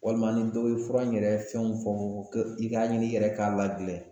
Walima ni dɔ ye fura in yɛrɛ fɛnw fɔ fɔ fɔ ko i k'a ɲini i yɛrɛ ka ladilɛn